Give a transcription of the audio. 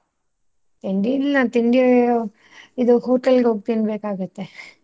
ತಿಂಡಿ ಇಲ್ಲ ತಿಂಡಿ ಒ ಇದು hotel ಗ್ ಹೋಗಿ ತಿನ್ಬೇಕಗುತ್ತೆ.